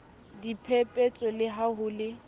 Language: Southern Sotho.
diphepetso le ha ho le